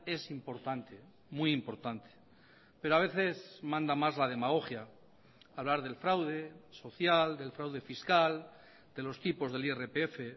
es importante muy importante pero a veces manda más la demagogia hablar del fraude social del fraude fiscal de los tipos del irpf